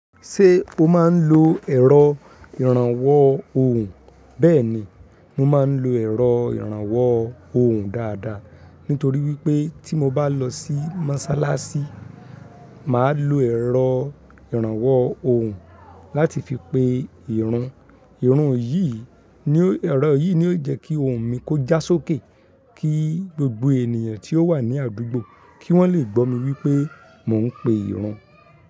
Ṣé o máa ń lo ẹ̀rọ ìrànwọ́ ohùn? Bẹ́ẹ̀ni, mo máa ń lo ẹ̀rọ ìrànwọ́ ohùn dáadáa nítorí wípé tí mo bá lọ sí Mọ́sálásí, màá lo ẹ̀rọ ìrànwọ́ ohùn láti fi pe ìrun. Ẹ̀rọ yìí ni ó jẹ́ kí ohùn mi kó já sókè kí gbogbo ènìyàn tí ó wà ní àdúgbò kí wọ́n lè gbọ́ mi wípé mò ń pe ìrun.